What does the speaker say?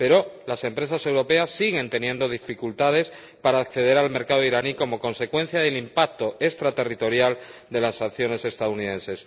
Pero las empresas europeas siguen teniendo dificultades para acceder al mercado iraní como consecuencia del impacto extraterritorial de las acciones estadounidenses.